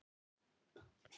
Amma sló sér á lær.